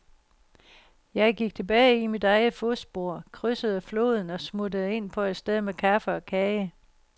Jeg gik tilbage i mit eget fodspor, krydsede floden og smuttede ind på et sted med kaffe og kage.